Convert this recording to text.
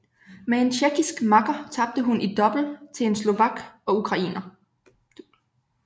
Med en tjekkisk makker tabte hun i double til en slovak og ukrainer